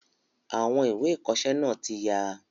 Àwọn ìwé ìkọsẹ́ náà tí ya